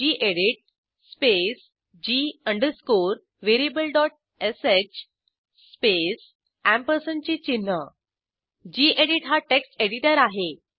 गेडीत space g अंडरस्कोरvariablesh space अँपरसँडचे चिन्ह गेडीत हा टेक्स्ट एडिटर आहे